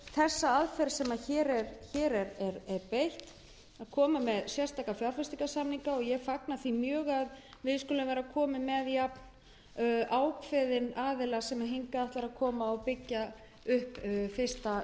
beitt að leggja fram sérstaka fjárfestingarsamninga ég fagna því mjög að hingað skuli kominn aðili sem er jafnákveðinn og raun ber vitni í að byggja upp fyrsta